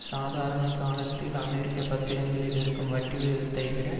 சாதாரண காலங்களில் அமெரிக்க பத்திரங்களில் இருக்கும் வட்டி விகிதத்தை விட